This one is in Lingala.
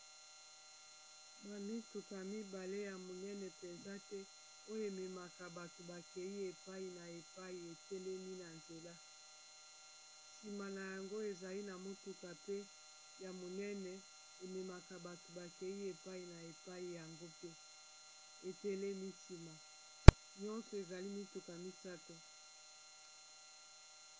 bamituka mibale ya monene penza te oyo ememaka bato bakei epai na epai etelemi na nzela sima na yango ezali na motuka pe ya monene ememaka bato bakei epai na epai yango pe etelemi sima nyonso ezali mituka misato